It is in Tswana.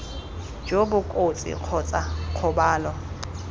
jo bo kotsi kgotsa kgobalo